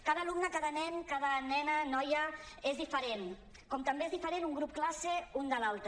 cada alumne cada nen cada nena noia és diferent com també és diferent un grup classe de l’altre